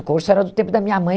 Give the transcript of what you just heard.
O corso era do tempo da minha mãe.